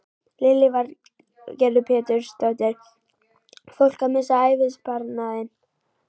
Lillý Valgerður Pétursdóttir: Fólk að missa ævisparnaðinn?